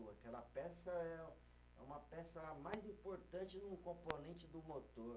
Aquela peça é, é uma peça mais importante no componente do motor.